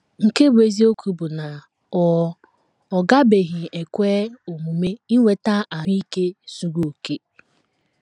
Nke bụ́ eziokwu bụ na ọ ọ gabeghị ekwe omume inweta ahụ́ ike zuru okè.